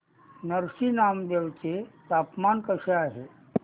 नरसी नामदेव चे तापमान कसे आहे